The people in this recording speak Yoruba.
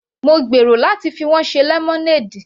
Mo gbèrò láti fi wọ́n ṣe lemonade.